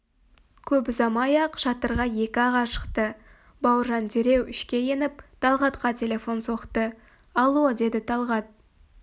көп ұзамай-ақ шатырға екі аға шықты бауыржан дереу ішке еніп талғатқа телефон соқты алло деді талғат